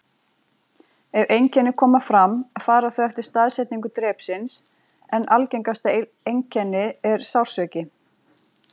Ef einkenni koma fram fara þau eftir staðsetningu drepsins, en algengasta einkenni er sársauki.